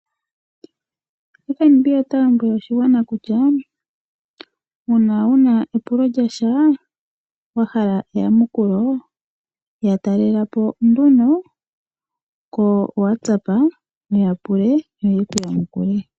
FNB ota lombwele oshigwana kutya uuna wu na epulo lyasha wahala eyamukulo ya talela po nduno kepandja lyawo lyopaungomba wuya pule yo ye ku yamukule.